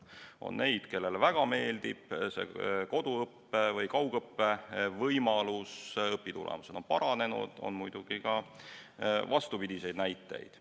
On neid, kellele väga meeldib see koduõppe või kaugõppe võimalus, õpitulemused on paranenud, aga on muidugi ka vastupidiseid näiteid.